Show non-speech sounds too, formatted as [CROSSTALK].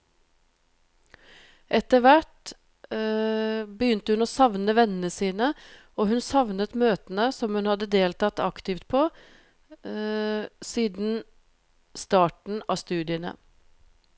Etter hvert [HESITATION] begynte hun å savne vennene sine, og hun savnet møtene som hun hadde deltatt aktivt på [HESITATION] siden starten av studiene.